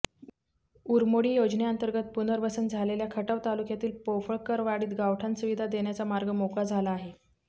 उरमोडी योजनेअंतर्गत पुनर्वसन झालेल्या खटाव तालुक्यातील पोफळकरवाडीत गावठाण सुविधा देण्याचा मार्ग मोकळा झाला आहे